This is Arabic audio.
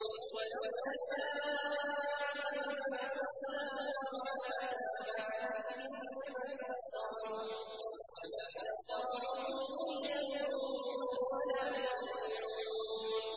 وَلَوْ نَشَاءُ لَمَسَخْنَاهُمْ عَلَىٰ مَكَانَتِهِمْ فَمَا اسْتَطَاعُوا مُضِيًّا وَلَا يَرْجِعُونَ